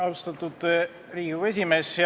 Austatud Riigikogu esimees!